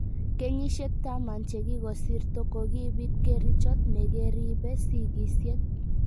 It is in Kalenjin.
Kenyisyek taman che kokosirto kokibiit kerichot negeribee sigisyet